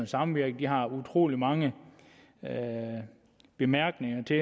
samvirke har utrolig mange bemærkninger til